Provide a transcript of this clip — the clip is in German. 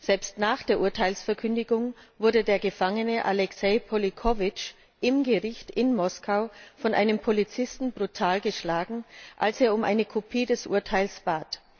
Selbst nach der Urteilsverkündung wurde der Gefangene Alexej Polichowytsch im Gericht in Moskau von einem Polizisten brutal geschlagen, als er um eine Kopie des Urteils bat.